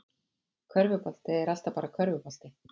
Körfubolti er alltaf bara körfubolti